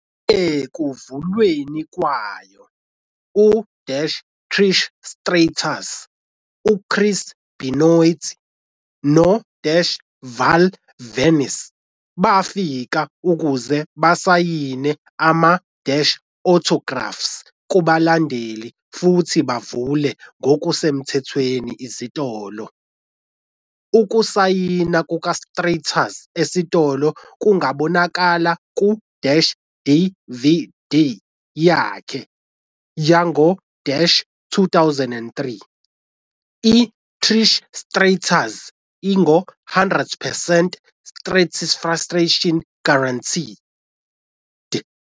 Ekuvulweni kwayo, u-Trish Stratus, uChris Benoit, no-Val Venis bafika ukuze basayine ama-autographs kubalandeli futhi bavule ngokusemthethweni isitolo. Ukusayina kukaStratus esitolo kungabonakala ku-DVD yakhe "yango-2003, i-Trish Stratus- 100 percent Stratusfaction Guaranteed."